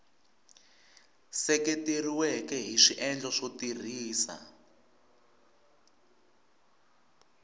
seketeriweke hi swiendlo swo tirhisa